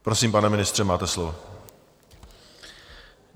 Prosím, pane ministře, máte slovo.